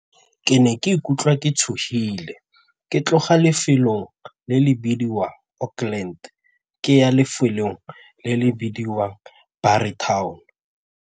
Ke ne ke ikutlwa ke tshogile ke tloga lefelo le le bidiwa Oakland ke ya lefelong le le bidiwang .